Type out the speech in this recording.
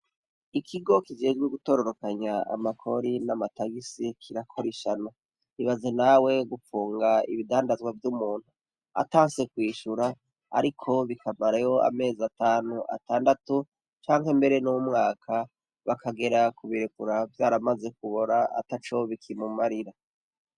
Ikigo kigezwe gutororokanya amakori n'amatagisi kirakorishana bibaze nawe gupfunga ibidandazwa vy'umuntu atanse kwishura ariko bikamareho amezi atanu atandatu cangwa imbere n'umwaka bakagera ku birekura vyaramaze kubora ataco bikimumarira.